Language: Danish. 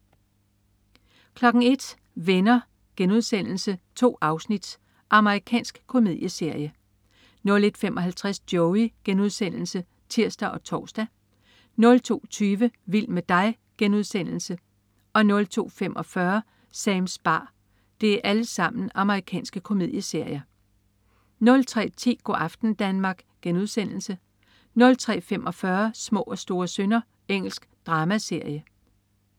01.00 Venner.* 2 afsnit. Amerikansk komedieserie 01.55 Joey.* Amerikansk komedieserie (tirs og tors) 02.20 Vild med dig.* Amerikansk komedieserie 02.45 Sams bar. Amerikansk komedieserie 03.10 Go' aften Danmark* 03.45 Små og store synder. Engelsk dramaserie